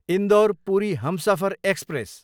Indore, Puri Humsafar express